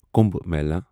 Kumbh Mela